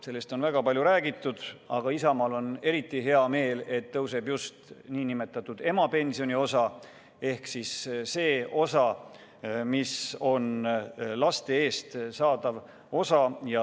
Sellest on väga palju räägitud, aga Isamaal on eriti hea meel, et tõuseb just nn emapensioni osa ehk siis see osa, mis määratakse laste kasvatamise eest.